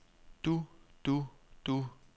du du du